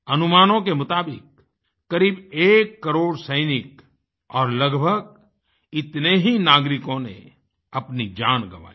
अनुमानों के मुताबिक क़रीब 1 करोड़ सैनिक और लगभग इतने ही नागरिकों ने अपनी जान गंवाई